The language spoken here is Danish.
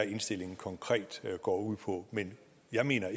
indstillingen konkret går ud på men jeg mener